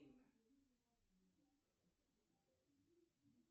а давай посмотрим что там дальше будет перемотай вперед